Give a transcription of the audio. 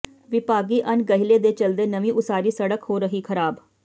ਵਿਭਾਗੀ ਅਣਗਹਿਲੀ ਦੇ ਚਲਦੇ ਨਵੀਂ ਉਸਾਰੀ ਸੜਕ ਹੋ ਰਹੀ ਖ਼ਰਾਬ